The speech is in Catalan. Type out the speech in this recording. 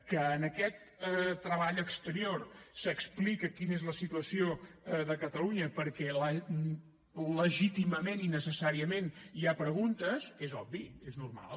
que en aquest treball exterior s’explica quina és la situació de catalunya perquè legítimament i necessàriament hi ha preguntes és obvi és normal